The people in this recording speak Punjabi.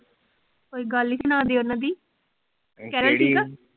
ਕੋਈ ਗੱਲ ਈ ਸੁਨਾ ਦੇ ਉਹਨਾਂ ਦੀ, ਕਿਹੜੀ? ਕੇਰਲ ਠੀਕ ਆ?